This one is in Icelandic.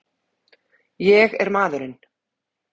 Ég er maðurinn!